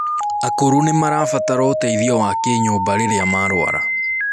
akũrũ nimabaratara ũteithio wa kinyumba rirĩa marwara